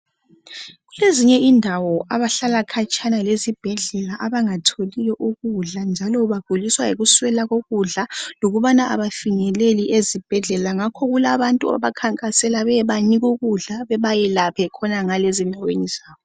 Kulezinye izindawo abantu abahlala khona khatshana lezibhedlela lapho abangatholi ukudla, abanye baguliswa yikungatholi ukudla okwaneleyo lokungafinyeleli ezibhedlela. Sekulabantu abahamba beyebasiza khonangale ukuze bathole usizo.